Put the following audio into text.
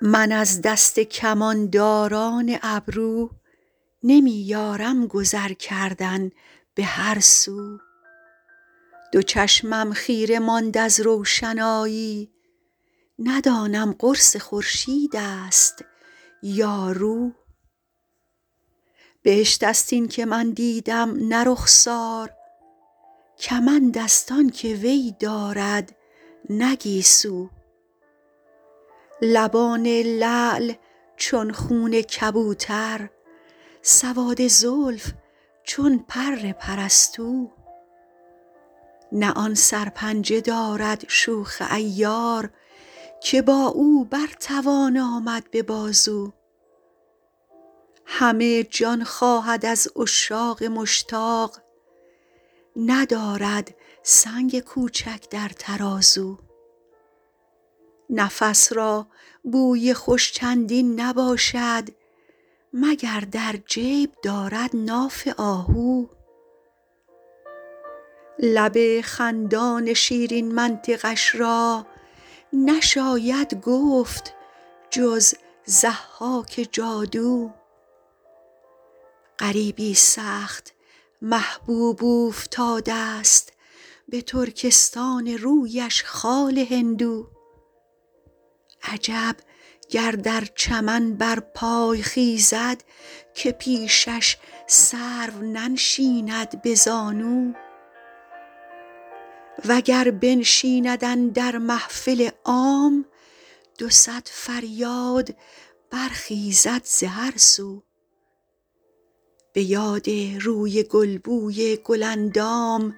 من از دست کمانداران ابرو نمی یارم گذر کردن به هر سو دو چشمم خیره ماند از روشنایی ندانم قرص خورشید است یا رو بهشت است این که من دیدم نه رخسار کمند است آن که وی دارد نه گیسو لبان لعل چون خون کبوتر سواد زلف چون پر پرستو نه آن سرپنجه دارد شوخ عیار که با او بر توان آمد به بازو همه جان خواهد از عشاق مشتاق ندارد سنگ کوچک در ترازو نفس را بوی خوش چندین نباشد مگر در جیب دارد ناف آهو لب خندان شیرین منطقش را نشاید گفت جز ضحاک جادو غریبی سخت محبوب اوفتاده ست به ترکستان رویش خال هندو عجب گر در چمن برپای خیزد که پیشش سرو ننشیند به زانو و گر بنشیند اندر محفل عام دو صد فریاد برخیزد ز هر سو به یاد روی گل بوی گل اندام